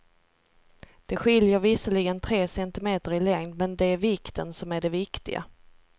Det skiljer visserligen tre centimeter i längd, men det är vikten som är det viktiga.